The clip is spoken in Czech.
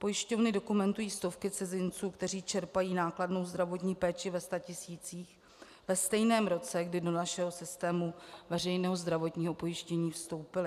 Pojišťovny dokumentují stovky cizinců, kteří čerpají nákladnou zdravotní péči ve statisících ve stejném roce, kdy do našeho systému veřejného zdravotního pojištění vstoupili.